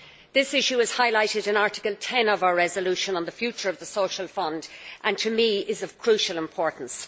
This issue is highlighted in Article 10 of our resolution on the future of the Social Fund and is, to me, of crucial importance.